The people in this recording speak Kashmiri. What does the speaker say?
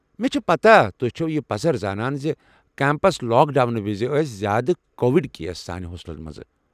مےٚ چھےٚ پتاہ تُہۍ چھِو یہِ پزر زانان زِ کمپس لاک ڈاونہٕ وِزِ ٲسۍ زیٛادٕ کووِڈ کیس سانہِ ہوسٹلہٕ منٛزٕ۔